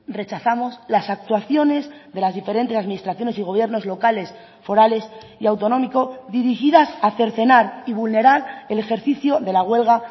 rechazamos las actuaciones de las diferentes administraciones y gobiernos locales forales y autonómico dirigidas a cercenar y vulnerar el ejercicio de la huelga